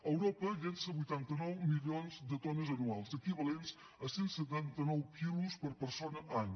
europa llença vuitanta nou milions de tones anuals equivalents a cent i setanta nou quilos per persona any